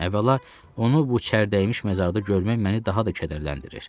Əvvəla, onu bu çərdəymiş məzarda görmək məni daha da kədərləndirir.